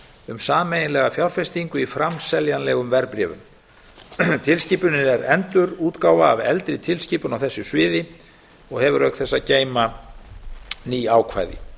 um sameiginlega fjárfestingu í framseljanlegum verðbréfum tilskipunin er endurútgáfa af eldri tilskipun á þessu sviði og hefur auk þess að geyma ný ákvæði